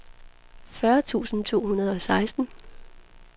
fyrre tusind to hundrede og seksten